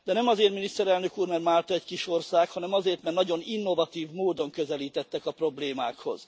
De nem azért, miniszterelnök úr, mert Málta egy kis ország, hanem azért, mert nagyon innovatív módon közelítettek a problémákhoz.